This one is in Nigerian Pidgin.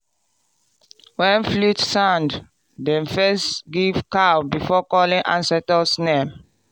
when flute sound dem first give cow before calling ancestors name.